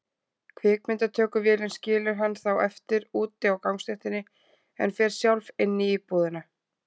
Kvikmyndatökuvélin skilur hann þá eftir úti á gangstéttinni, en fer sjálf inn í íbúðina.